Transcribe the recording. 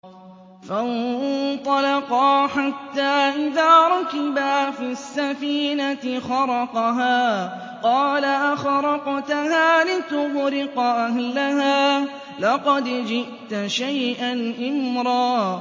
فَانطَلَقَا حَتَّىٰ إِذَا رَكِبَا فِي السَّفِينَةِ خَرَقَهَا ۖ قَالَ أَخَرَقْتَهَا لِتُغْرِقَ أَهْلَهَا لَقَدْ جِئْتَ شَيْئًا إِمْرًا